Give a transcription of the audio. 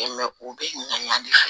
u bɛ ɲali kɛ